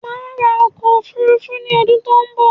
Máa ra ọkọ òfurufú ní ọdún tó n bọ